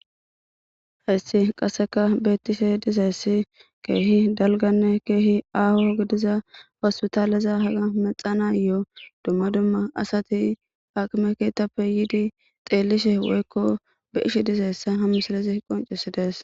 Hessi qasseka beettishe dizayssi keehi dalganne keehi aaho gidiza fassu taaleza haga mexanayoo dumma dumma asati haqime keetappe yiidi xeellishe woykko be ishe dizayssa hamisalezi qoncesides